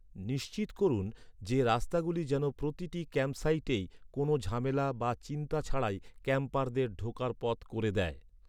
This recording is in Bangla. নিশ্চিত করুন যে, রাস্তাগুলি যেন প্রতিটি ক্যাম্পসাইটেই, কোনো ঝামেলা বা চিন্তা ছাড়াই ক্যাম্পারদের ঢোকার পথ করে দেয়।